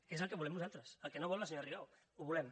que és el que volem nosaltres el que no vol la senyora rigau ho volem